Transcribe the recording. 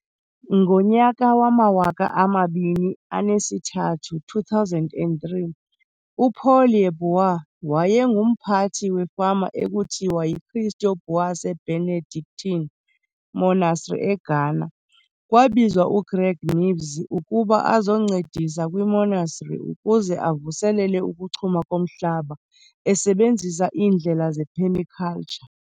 Ngonyaka wamawaka amabini enesithathu, 2003, uPaul Yeboah wayengumphathi wefama ekuthiwa yiKristo Buase Benedctine Monastery eGhana. Kwabizwa uGreg Knibbs ukuba azoncedisi kwiMonastery ukuze avuselele ukuchuma komhlaba esebenzisa iindlela zephemikaltsha.